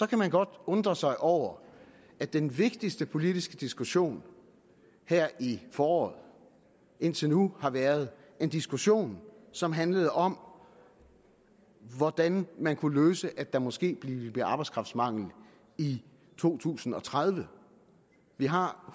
kan godt undre sig over at den vigtigste politiske diskussion her i foråret indtil nu har været en diskussion som handlede om hvordan man kunne løse det at der måske ville blive arbejdskraftmangel i to tusind og tredive vi har